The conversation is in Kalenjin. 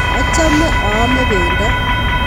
Achome aame pendo